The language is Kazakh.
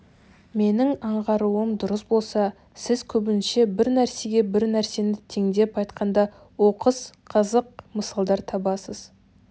менің аңғаруым дұрыс болса сіз көбінше бір нәрсеге бір нәрсені теңеп айтқанда оқыс қызық мысалдар табасыз